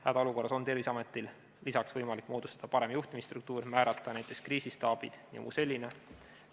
Hädaolukorras on Terviseametil lisaks võimalik moodustada parem juhtimisstruktuur, määrata näiteks kriisistaabid jms.